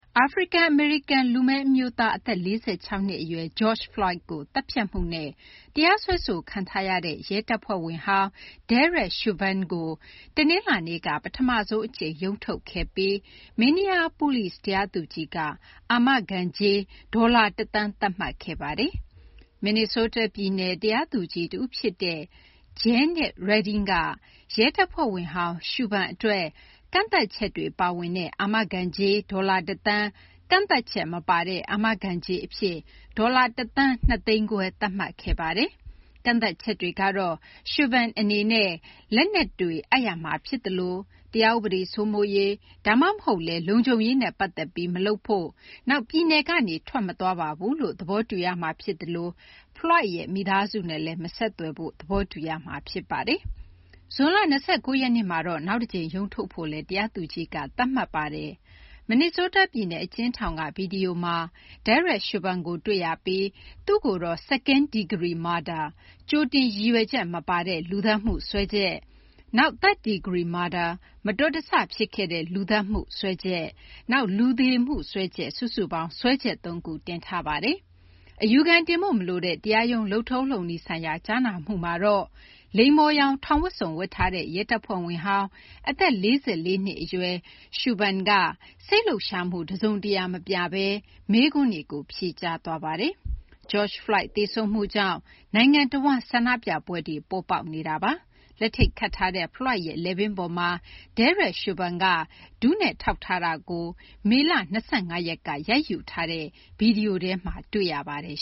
အာဖရိကန် အမေရိကန် လူမည်း အမျိုးသား အသက် ၄၆ နှစ် အရွယ် George Floyd ကို သတ်ဖြတ်မှုနဲ့ တရားစွဲဆိုခံထားရတဲ့ ရဲတပ်ဖွဲ့ဝင်ဟောင်း Derek Chauvin ကို တနလာၤနေ့က ပထမဆုံး အကြိမ် ရုံးထုတ်ခဲ့ပြီး Minneapolis တရားသူကြီးက အာမခံကြေး ဒေါ်လာ ၁ သန်း သတ်မှတ်ခဲ့ပါတယ်။ မင်နီဆိုးတား ပြည်နယ် တရားသူကြီး တဦး ဖြစ်တဲ့ Jeannice Reding ကရဲတပ်ဖွဲ့ဝင်ဟောင်း Chauvin အတွက် ကန့်သတ်ချက်တွေ ပါဝင်တဲ့ အာမခံကြေး ဒေါ်လာ ၁ သန်း၊ ကန့်သတ်ချက် မပါတဲ့ အာမခံကြေး အဖြစ် ဒေါ်လာ ၁ သန်း ၂သိန်းခွဲ သတ်မှတ်ခဲ့ပါတယ်။ ကန့်သတ်ချက်တွေကတော့ Chauvin အနေနဲ့ လက်နက်တွေ အပ်ရမှာ ဖြစ်သလို ၊ တရားဥပဒေ စိုးမိုးရေး ဒါမှမဟုတ်လည်း လုံခြုံရေးနဲ့ ပတ်သက်ပြီး မလုပ်ဖို့၊ နောက် ပြည်နယ်ကနေ ထွက်မသွားပါဘူးလို့ သဘောတူရမှာ ဖြစ်သလို Floyd ရဲ့ မိသားစုနဲ့လည်း မဆက်သွယ်ဖို့ သဘောတူရမှာ ဖြစ်ပါတယ်။ ဇွန်လ ၂၉ ရက်နေ့မှာ နောက်တကြိမ် ရုံးထုတ်ဖို့လည်း တရားသူကြီးက သတ်မှတ်ခဲ့ပါတယ်။ မင်နီဆိုးတား ပြည်နယ် အကျဉ်းထောင်က ဗွီဒီယိုမှာ Derek Chauvin ကိုတွေ့ရပြီး သူ့ကိုတော့ Second degree murder -ကြိုတင်ရည်ရွက်ချက် မပါတဲ့ လူသတ်မှုစွဲချက်၊ နောက် Third degree murder - မတော်တဆ ဖြစ်ခဲ့တဲ့ လူသတ်မှု စွဲချက်၊ နောက် လူသေမှု စွဲချက် စုစုပေါင်း စွဲချက် သုံးခုတင်ထားပါတယ်။ အပြစ်ရှိ မရှိ ပြောစရာ မလိုတဲ့ တရားရုံး လုပ်ထုံး လုပ်နည်းဆိုင်ရာ ကြားနာမှုမှာတော့လိမ္မော်ရောင် ထောင်ဝတ်စုံ ဝတ်ထားတဲ့ ရဲတပ်ဖွဲ့ဝင်ဟောင်း အသက် ၄၄ နှစ် အရွယ် Chauvin က စိတ်လှုပ်ရှားမှု တစုံတရာ မပြဘဲ မေးခွန်းတွေကို ဖြေကြားသွားပါတယ်။ George Floyd သေဆုံးမှုကြောင့် နိုင်ငံ တဝန်း ဆန္ဒပြပွဲတွေ ပေါ်ပေါက်နေတာပါ။ လက်ထိပ်ခတ်ထားတဲ့ Floyd ရဲ့ လည်ပင်းပေါ်မှာ Derek Chauvin က ဒူးနဲ့ ထောက်ထားတာကို မေလ ၂၅ ရက်က ရိုက်ယူထားတဲ့ ဗွီဒီယိုထဲမှာ တွေ့ရပါတယ်